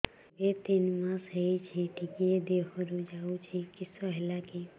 ଏବେ ତିନ୍ ମାସ ହେଇଛି ଟିକିଏ ଦିହରୁ ଯାଉଛି କିଶ ହେଲାକି